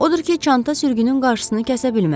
Odur ki, çanta sürgünün qarşısını kəsə bilməzdi.